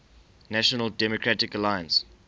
national democratic alliance